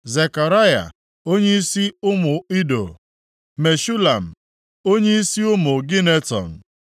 Zekaraya, onyeisi ụmụ Ido; Meshulam, onyeisi ụmụ Gineton